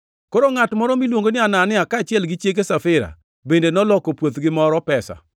Koro ngʼat moro miluongo ni Anania, kaachiel gi chiege Safira, bende noloko puothgi moro pesa.